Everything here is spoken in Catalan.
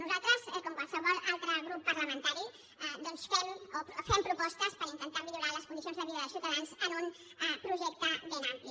nosaltres com qualsevol altre grup parla·mentari doncs fem propostes per intentar millorar les condicions de vida dels ciutadans amb un projecte ben ampli